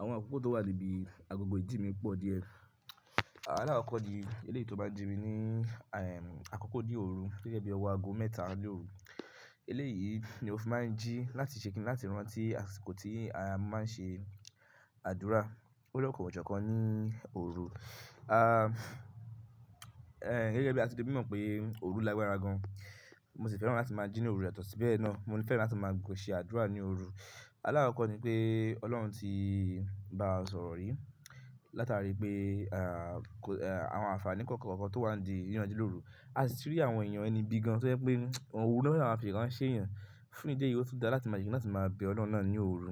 Àwọn àkókò tó wà níbi agogo ìjí mi pọ̀ díẹ̀. Alákọkọ̀ ni eléyìí tó máa ń jí mi ní àkókó ní òru gẹ́gẹ́ bí ọwọ́ ago mẹ́ta lóru. Eléyìí ni mo fi máa ń jí láti ṣe kíni láti rántí àsìkò tí a máa ń ṣe àdúrà. Lọ́lọ́kan-ò-jọ̀kan ní òru. Gẹ́gẹ́ bí a ti fi ṣe mímọ̀ pé òru lágbára gan-an, mo sì fẹ́ràn láti máa jí ní òru, yàtọ̀ sí bẹ́ẹ̀ náà, mo fẹ́ràn láti máa ṣe àdúrà ní òru. Alárọ̀ọ́kọ́ ni pé Ọlọ́run ti bá wa sọ̀rọ̀ rí látàrí pé àwọn àǹfààní kọ̀ọ̀kan kọ̀ọ̀kan tó wà ńdí kíyàn jí lóru. A sì ti rí àwọn èèyàn ẹniibí gan-an tó jẹ́ pé òru l'ọ́n fẹ́ẹ̀ máa fi ìran ṣèèyàn. Fún ìdí èyí ò tún dá láti máa, tí máa bẹ Ọlọ́run náà ní òru.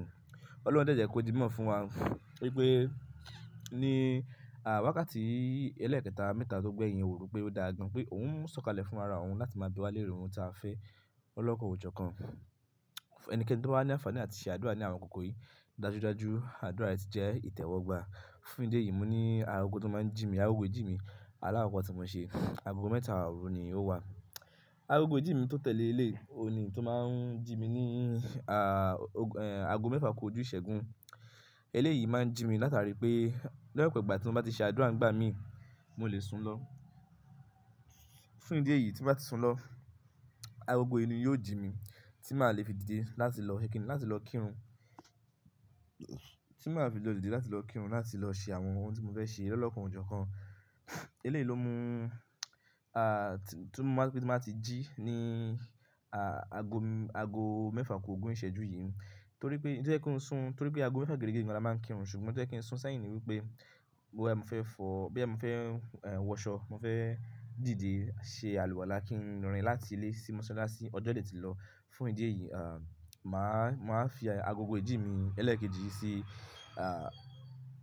Ọlọ́run dẹ̀ jẹ́ kó di mímọ̀ fún wa wípé ní wákàtì ẹlẹ́ẹ̀kẹta mẹ́ta tó gbẹ̀yìn òru pé ó dáa gan pé òun ń sọ̀kalẹ̀ fún ara òun láti máa bi wá léèrè ohun tí a fẹ́. Olóko òwò jọkan. Ẹnikẹ́ni tó bá ní àǹfààní àti ṣe àdúrà ní àwọn akókò yìí, dájúdájú àdúrà yìí ti jẹ́ ìtẹ́wọ́gbà. Fún ìdí èyí mo ní aago tó máa ń jí mi, aago ìjí mi alákọ̀ọ́kọ́ tí mo ṣe. Aago mẹ́ta òru ni ó wà. Agogo ìjí mi tó tẹ̀lé eléyìí òun ní èyí tó máa ń jí mi ní aago mẹ́fà kú ojú ìṣẹ́gún. Eléyìí máa ń jí mi látàrí pé lọ́pọ̀ ìgbà tí mo bá ti ṣe àdúrà ńgbà míì, mo lè sun lọ. Fún ìdí èyí tí mo bá ti sun lọ, agogo yìí ni yóò jí mi tí màá le fi dìde láti lọ ṣe kíni, láti lọ kírun, tí màá fi lọ dìde láti lọ kírun, láti lọ ṣe àwọn ohun tí mo fẹ́ ṣe lólọ́kan ò jọkan. Eléyìí ló mú tí mo máa ti jí ní aago mẹ́fà kú ogún ìṣẹ́jú yìí. Torí pé n tó jẹ́ kí n sún, nítorí pé aago mẹ́fà géérégé ni a máa ń kírun, ṣùgbọ́n n tó jẹ́ kí n sún sẹ́yìn ni wípé bóyá mo fẹ́ fọ, bóyá mo fẹ́ wọṣọ, mo fẹ́ dìde ṣe àlùwàlá kí n rìn láti ilé sí mọ́sálásí ọjọ́ dẹ̀ tí lọ. Fún ìdí èyí, màá fi agogo ìjí mi ẹlẹ́ẹ̀kejì sí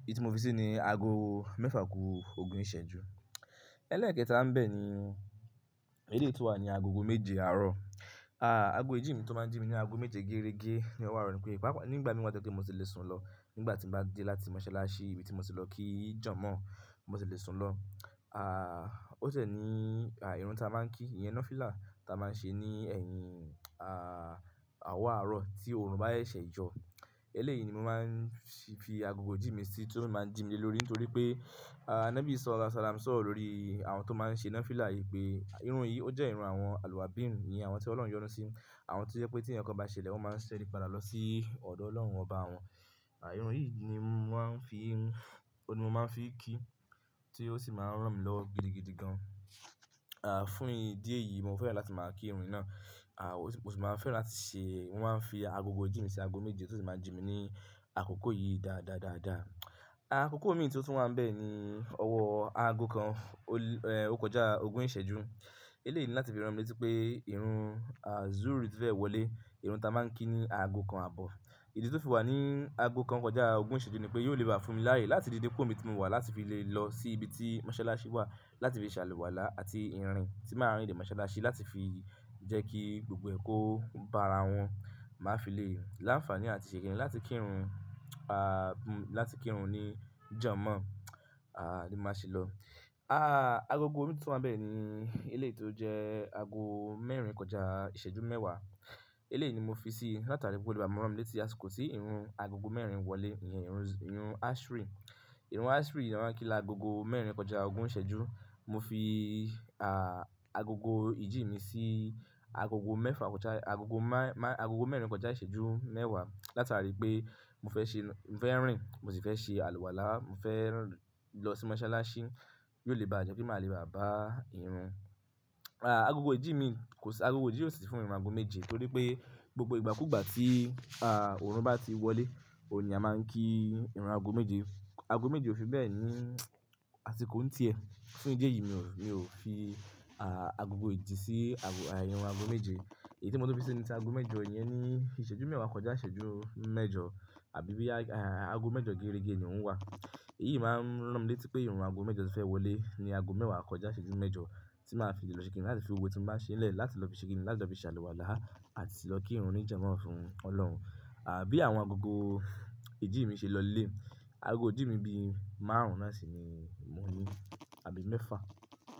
èyí tí mo fi sí ní aago mẹ́fà ku ogún ìṣẹ́jú. Ẹlẹ́ẹ̀kẹta ńbẹ̀ ni eléyìí tó wà ní agogo méje àárọ̀. Aago ìjí mi tó máa ń jí mi ní aago méje géérégé ní ọwọ́ àárọ̀ ni pé pàápàá nígbà míì wà tó jẹ́ pé mo ti lè sùn lọ. Nígbà tí mo bá dé láti mọ́sálásí níbi tí mo ti lọ kí jọ̀mọ́-ọ̀n, mo sì lè sun lọ. O ṣẹ̀ ní ìrun tí a máa ń kí, ìyẹn nafilá tí a máa ń ṣe ní ẹ̀yìn ọwọ́ àárọ̀ tí oòrùn bá ṣẹ̀ṣẹ̀ yọ. Eléyìí ni mo máa ń fi agogo ìjí mi sí tó máa ń jí mi lé lórí nítorí pé nábì Sọọ̀lá sàlámù sọ̀rọ̀ lórí àwọn tó máa ń ṣe nafilá yìí pé irun yìí ó jẹ́ irun àwọn àlùwàbí ń, àwọn tí Ọlọ́run yọ́nà sí, àwọn tí ó jẹ́ pé tí ẹnìkan bá ṣẹlẹ̀ wọ́n máa ń ṣẹ́rí padà lọ sí ọ̀dọ̀ Ọlọ́run, ọ bá wọn. Irun yìí ni mo máa ń fi kí tí ó sì máa ń rán mi lọ gidigidi gan. Fún ìdí èyí mo fẹ́ràn láti máa kí irun yìí náà. Mo sì máa ń fẹ́ràn láti ṣe, mo máa ń fi agogo jí mi sí ago méje tí ó sì máa ń jí mi ní àkókò yìí dáadáa daadaa. Àkókò mìí tí ó tún wà ń bẹ́ ni ọwọ́ ago kan, ó kọjá ogún ìṣẹ́jú. Eléyìí ni láti fi rántí pé irun zuru ti fẹ́ wọlé, irun tí a máa ń kí ní ago kan àbọ̀. Ìdí tí ó fi wà ní ago kan kọjá ogún ìṣẹ́jú nì pé yóò le bá fún mi láàyè láti dìde kó mi tí mo wà láti fi lè lọ sí ibi tí mọ́sálásí wà láti fi ṣe àlùwàlá àti ìrìn tí màá rìn dé mọ́sálásí láti fi jẹ́ kí gbogbo ẹ̀kọ́ bá ara wọn máa fi lè láǹfààní àti ṣe kíni láti kírun ní jọ̀mọ́ ni màá ṣe lọ aaa Agogo mìíràn tí ó tún wà ń bẹ́ ni eléyìí tó jẹ́ ago mẹ́rin kọjá ìṣẹ́jú mẹ́wàá. Eléyìí ni mo fi sí látara gbogbo ègbà mi wọ́n rántí àsìkò tí irun agogo mẹ́rin wọlé, ìyẹn irun ashri. Irun ashri ni a máa ń kí lágo mẹ́rin kọjá ogún ìṣẹ́jú. Mo fi agogo ìjí mi sí agogo mẹ́rin kọjá ìṣẹ́jú mẹ́wàá látara pé mo fẹ́ rìn, mo sì fẹ́ ṣe àlùwàlá, mo fẹ́ lọ sí mọ́sálásí, yóò le bá jẹ́ kí màá le bá bá irun. Agogo ìjí mi kò sí, agogo ìjí yóò sì fún mi ní ago méje nítorí pé gbogbo ìgbàkúgbà tí òòrùn bá ti wọlé, òun ni a máa ń kí irun ago méje. Ago méje ò fi bẹ́ẹ̀ ní àsìkò ń ti ẹ. Fún ìdí èyí mi ò fi agogo ìjí sí irun ago méje. Èyí tí mo tó fi sí níta ago mẹ́jọ, ìyẹn ni ìṣẹ́jú mẹ́wàá kọjá ìṣẹ́jú mẹ́jọ àbí i bí ago mẹ́jọ gerege ni ó ń wà. Èyí máa ń rán mi létí pé irun ago mẹ́jọ tí fẹ́ wọlé ni ago mẹ́wàá kọjá ìṣẹ́jú mẹ́jọ tí màá fi lè lọ ṣe kíni láti fi owó tí mo bá ṣe lẹ̀ láti lọ fi ṣe kíni láti lọ fi ṣe àlùwàlá àti lọ kírun ní jọ̀mọ́ fún Ọlọ́run. Àbí àwọn agogo ìjí mi ṣe lọlé. Ago ìjí mi bí márùn-ún lásìí ni mo ní, àbí mẹ́fà.